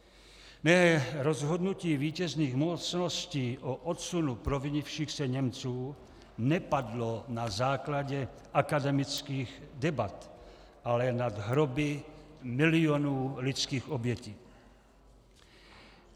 Ne, rozhodnutí vítězných mocností o odsunu provinivších se Němců nepadlo na základě akademických debat, ale nad hroby milionů lidských obětí.